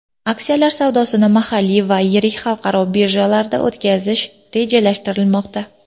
Aksiyalar savdosini mahalliy va yirik xalqaro birjalarda o‘tkazish rejalashtirilmoqda.